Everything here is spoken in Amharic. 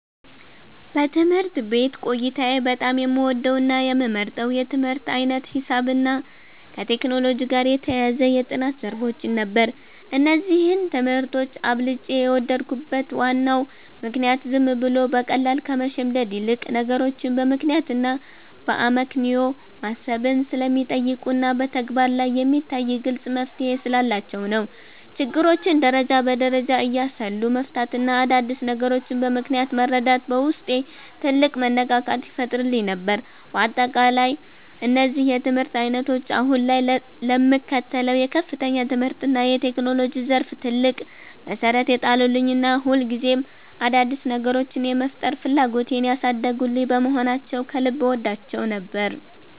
በትምህርት ቤት ቆይታዬ በጣም የምወደውና የምመርጠው የትምህርት ዓይነት ሂሳብንና ከቴክኖሎጂ ጋር የተያያዙ የጥናት ዘርፎችን ነበር። እነዚህን ትምህርቶች አብልጬ የወደድኩበት ዋናው ምክንያት ዝም ብሎ በቃል ከመሸምደድ ይልቅ፣ ነገሮችን በምክንያትና በአመክንዮ ማሰብን ስለሚጠይቁና በተግባር ላይ የሚታይ ግልጽ መፍትሔ ስላላቸው ነው። ችግሮችን ደረጃ በደረጃ እያሰሉ መፍታትና አዳዲስ ነገሮችን በምክንያት መረዳት በውስጤ ትልቅ መነቃቃትን ይፈጥርልኝ ነበር። በአጠቃላይ እነዚህ የትምህርት ዓይነቶች አሁን ላይ ለምከተለው የከፍተኛ ትምህርትና የቴክኖሎጂ ዘርፍ ትልቅ መሠረት የጣሉልኝና ሁልጊዜም አዳዲስ ነገሮችን የመፍጠር ፍላጎቴን ያሳደጉልኝ በመሆናቸው ከልብ እወዳቸው ነበር።